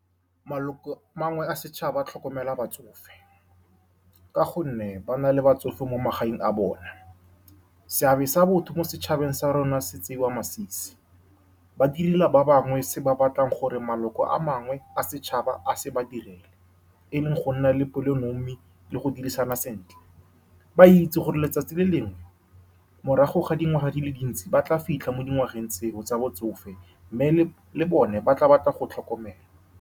Maloko a mangwe a setšhaba tlhokomela batsofe ka gonne ba na le batsofe mo magaeng a bone. Seabe sa botho mo setšhabeng sa rona se tseiwa masisi. Ba direla ba bangwe se ba batlang gore maloko a mangwe a setšhaba a se ba direle, e leng go nna le pelonomi le go dirisana sentle. Ba itse gore letsatsi le lengwe, morago ga dingwaga di le dintsi, ba tla fitlha mo dingwageng tseo tsa botsofe mme le bone ba tla batla go tlhokomelwa.